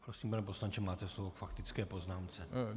Prosím, pane poslanče, máte slovo k faktické poznámce.